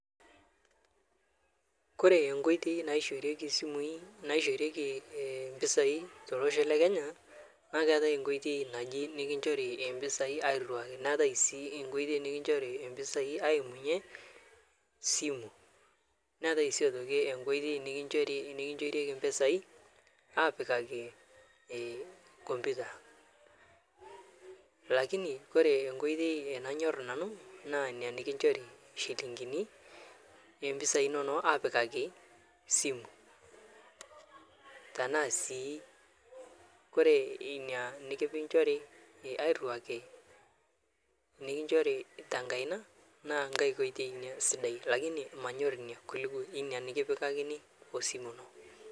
Kore nkoitei naishorieki simui naishorieki mpisai telosho lekenya naa keatae nkotei naji nikinchorieki mpisai airuaki netai sii nkotioi nikinchorieki mpisai aimunye simu netai sii nkotioi nikinchorieki mpisai apikaki komputa lakini kore nkotei nanyorr nanu naa nia nikinchori shilingini mpisai inono apikaki simu tanasi kore nia nikinchori airuaki nikinchori tenkaina naa nkae oitei nia sidai lakini manyor ina kuliko nia nikipikakini osimu ino.